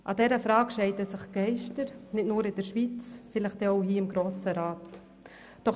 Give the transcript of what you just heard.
An dieser Frage scheiden sich die Geister, nicht nur in der Schweiz und vielleicht auch hier im Grossen Rat.